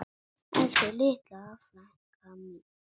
Elsku litla frænka mín.